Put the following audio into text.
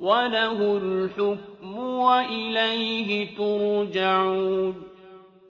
وَلَهُ الْحُكْمُ وَإِلَيْهِ تُرْجَعُونَ